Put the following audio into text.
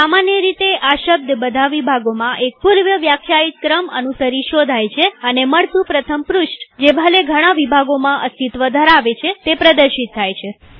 સામાન્ય રીતે આ શબ્દબધા વિભાગોમાં એક પૂર્વવ્યાખ્યાયિત ક્રમ અનુસરી શોધાય છેઅને મળતું પ્રથમ પૃષ્ઠજે ભલે ઘણા વિભાગોમાં અસ્તિત્વ ધરાવે તે પ્રદર્શિત થાય છે